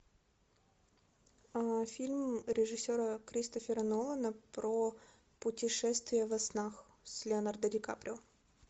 фильм режиссера кристофера нолана про путешествия во снах с леонардо ди каприо